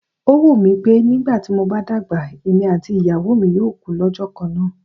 Ó wù mí pé nígbà tí mo bá dàgbà, èmi àti ìyàwó mi yóò kú lọ́jọ́ kan náà.